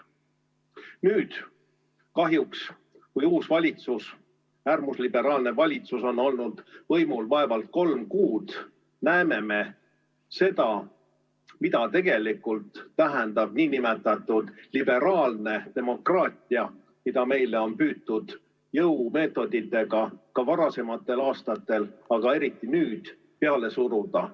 Nüüd kahjuks, kui uus valitsus, äärmusliberaalne valitsus on olnud võimul vaevalt kolm kuud, me näeme seda, mida tegelikult tähendab nn liberaalne demokraatia, mida meile on püütud jõumeetoditega ka varasematel aastatel, aga eriti nüüd peale suruda.